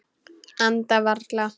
Anda varla.